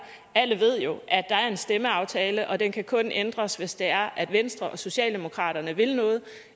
alle ved jo at der er en stemmeaftale og at den kun kan ændres hvis det er at venstre og socialdemokraterne vil noget